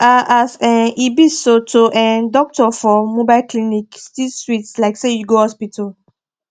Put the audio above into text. ah as um e be so to um doctor for mobile clinic still sweet like say you go hospital